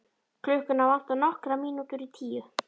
Klukkuna vantar nokkrar mínútur í tíu.